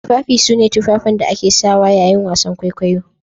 Tufafi sune Tufafin da ake sawa yayin wasan kwaikwayo